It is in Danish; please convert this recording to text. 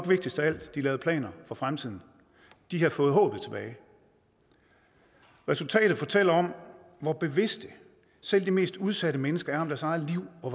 vigtigst af alt de lavede planer for fremtiden de havde fået håbet tilbage resultatet fortæller om hvor bevidst selv de mest udsatte mennesker er om deres eget liv og